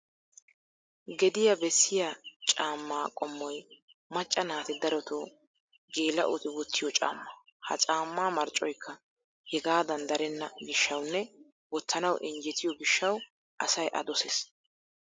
Gediyaa bessiya caamma qommoy macca naati darotoo geela'oti wottiyo caamma. Ha caammaa marccoyikka hegaadan darenna gishshawunne wottanawu injjetiyo gishshawu asay a dossees.